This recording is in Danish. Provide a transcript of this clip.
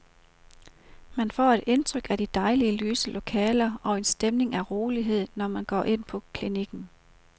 Man får et indtryk af dejlige lyse lokaler og en stemning af rolighed, når man går ind på klinikken.